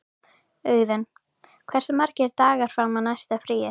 Auðun, hversu margir dagar fram að næsta fríi?